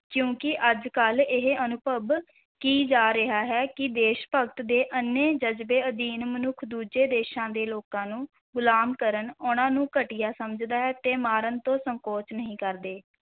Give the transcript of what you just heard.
ਕਿਉਂਕਿ ਅੱਜ-ਕੱਲ੍ਹ ਇਹ ਅਨੁਭਵ ਕੀ ਜਾ ਰਿਹਾ ਹੈ ਕਿ ਦੇਸ਼-ਭਗਤ ਦੇ ਅੰਨ੍ਹੇ ਜਜ਼ਬੇ ਅਧੀਨ ਮਨੁੱਖ ਦੂਜੇ ਦੇਸ਼ਾਂ ਦੇ ਲੋਕਾਂ ਨੂੰ ਗੁਲਾਮ ਕਰਨ, ਉਨ੍ਹਾਂ ਨੂੰ ਘਟੀਆ ਸਮਝਦਾ ਹੈ ਤੇ ਮਾਰਨ ਤੋਂ ਸੰਕੋਚ ਨਹੀਂ ਕਰਦੇ।